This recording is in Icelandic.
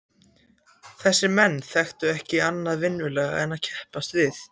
Þessir menn þekktu ekki annað vinnulag en að keppast við.